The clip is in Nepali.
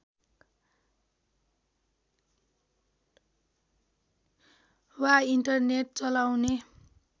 वा इन्टरनेट चलाउने